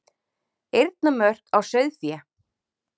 Eyrnamörk á sauðfé.